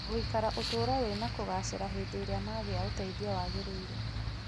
gũikara ũtũũro wĩna kũgaacĩra hĩndĩ ĩrĩa magĩa ũteithio waagĩrĩire.